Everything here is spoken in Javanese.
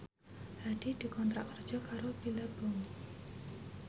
Hadi dikontrak kerja karo Billabong